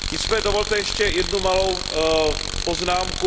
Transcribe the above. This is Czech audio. Nicméně dovolte ještě jednu malou poznámku.